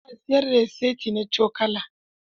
Ana siyar da saiti na cokula.